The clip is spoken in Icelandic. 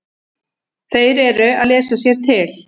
Þeir eru að lesa sér til.